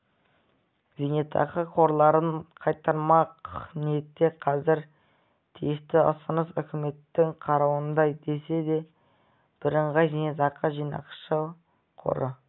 зейнетақы қорларын қайтармақ ниетте қазір тиісті ұсыныс үкіметтің қарауында десе де бірыңғай зейнетақы жинақтаушы қоры